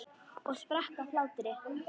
Og sprakk af hlátri.